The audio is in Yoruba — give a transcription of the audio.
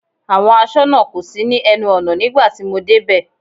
Àwọn aṣọ́nà kò sí ní ẹnu ọ̀nà nígbà tí mo dé bẹ̀.